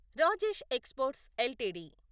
Rajesh exports LTD